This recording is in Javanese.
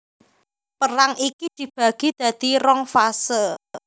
Perang iki dibagi dadi rong fase